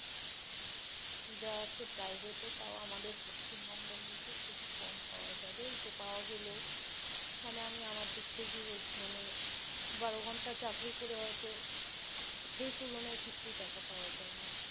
যা আছে private এ তাও আমাদের পশ্চিমবঙ্গে মধ্যে খুব কম পাওয়া যাবেতো পাওয়া গেলেও, মানে আমি আমার দিক থেকে বলছি মানে বারো ঘণ্টা চাকরি করে হয়তো সেই তুলনায় কিছুই টাকা পাওয়া যায় না